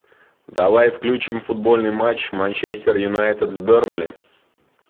давай включим футбольный матч манчестер юнайтед с бернли